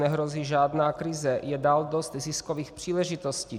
Nehrozí žádná krize, je dál dost ziskových příležitostí.